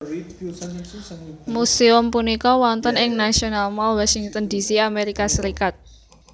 Museum punika wonten ing National Mall Washington D C Amerika Serikat